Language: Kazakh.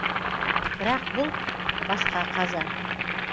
бірақ бұл басқа қаза